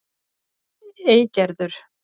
Eygerður